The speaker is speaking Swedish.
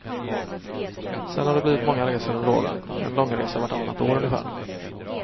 Sedan har det blivit många resor under åren, en långresa vartannat år ungefär.